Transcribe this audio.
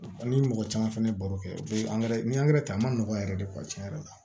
Ni mɔgɔ caman fɛnɛ ye baro kɛ u be ni ta a ma nɔgɔn yɛrɛ de kuwa cɛn yɛrɛ la